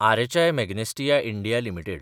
RHI Magnesita India limited